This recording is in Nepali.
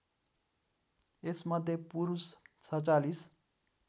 यसमध्ये पुरुष ४७